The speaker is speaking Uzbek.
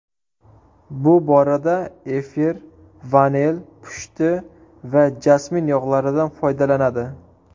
Bu borada efir, vanil, pushti va jasmin yog‘laridan foydalanadi.